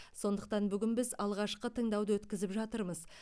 сондықтан бүгін біз алғашқы тыңдауды өткізіп жатырмыз